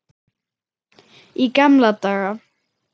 Í gamla daga.